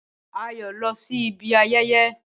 Ayọ̀ ló lọ sí ibi ayẹyẹ